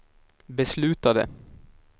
beslutade